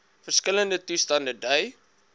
verskillende toestande dui